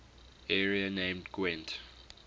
area named gwent